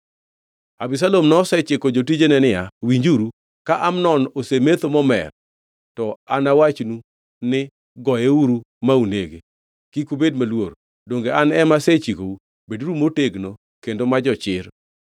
Abisalom nosechiko jotijene niya, “Winjuru! Ka Amnon osemetho momer, to anawachnu ni, Goyeuru ma unege. Kik ubed maluor. Donge an ema asechikou? Beduru motegno kendo ma jochir.”